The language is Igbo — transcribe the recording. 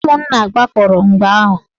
Ụmụnna gbakọrọ mgbe ahụ.